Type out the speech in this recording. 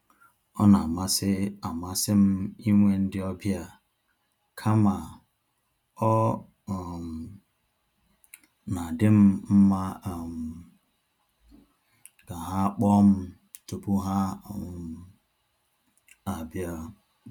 Ọ na amasị amasị m inwe ndị ọbịa, kama ọ um na-adịm mma um ka ha kpọọ m tupu ha um abia